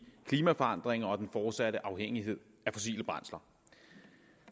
klimaforandringer og den fortsatte afhængighed af fossile brændsler